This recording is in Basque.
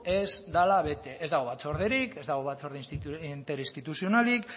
ez dela bete ez dago batzorderik ez dago batzorde interinstituzionalik